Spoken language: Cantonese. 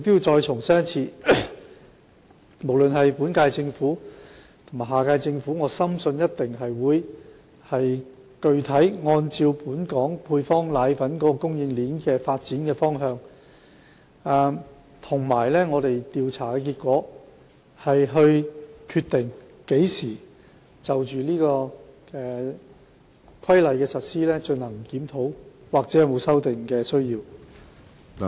我重申，無論是本屆或下屆政府，均定會按照本港配方奶粉供應鏈的發展方向及市場調查結果，決定何時就《規例》的實施進行檢討，看看有否修訂的需要。